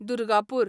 Durgapur